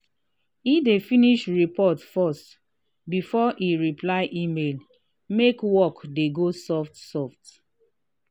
he dey finish report first before he reply email make work dey go soft soft.